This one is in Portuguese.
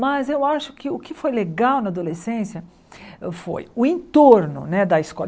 Mas eu acho que o que foi legal na adolescência foi o entorno né da escola.